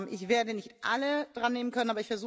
Ich werde nicht alle drannehmen können.